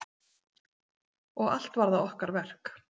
Og allt var það okkar verk.